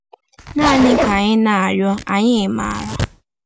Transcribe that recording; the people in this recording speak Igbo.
“Naanị Ka Anyị Na-arịọ Anyị Maara.”